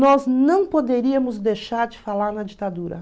Nós não poderíamos deixar de falar na ditadura.